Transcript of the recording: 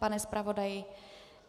Pane zpravodaji?